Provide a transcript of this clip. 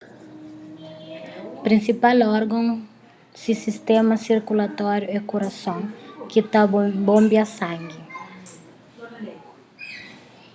prinsipal orgon si sistéma sirkulatóriu é kurason ki ta bonbia sangi